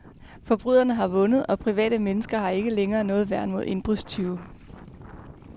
Forbryderne har vundet og private mennesker har ikke længere noget værn mod indbrudstyve.